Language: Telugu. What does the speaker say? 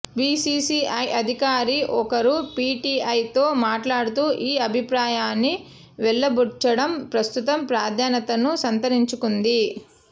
బీసీసీఐ అధికారి ఒకరు పీటీఐతో మాట్లాడుతూ ఈ అభిప్రాయాన్ని వెలిబుచ్చడం ప్రస్తుతం ప్రాధాన్యతను సంతరించుకుంది